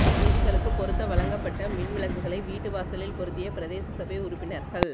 வீதிகளுக்குப் பொருத்த வழங்கப்பட்ட மின்விளக்குகளை வீட்டுவாசலில் பொருத்திய பிரதேச சபை உறுப்பினர்கள்